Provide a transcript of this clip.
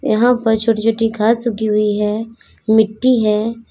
यहां पर छोटी छोटी घास उगी हुई है मिट्टी है।